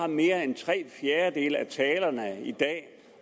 mere end tre fjerdedele af talerne i dag